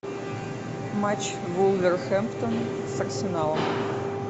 матч вулверхэмптон с арсеналом